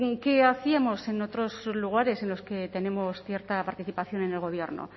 qué hacíamos en otros lugares en los que tenemos cierta participación en el gobierno